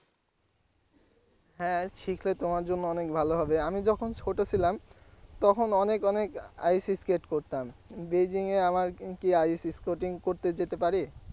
হ্যাঁ শিখলে তোমার জন্য অনেক ভালো হবে আমি যখন ছোট ছিলাম তখন অনেক অনেক ice-skate করতাম বেইজিং কি ice-skating করতে যেতে পারি?